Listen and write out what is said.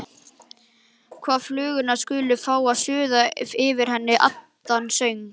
Og flugurnar skulu fá að suða yfir henni annan söng.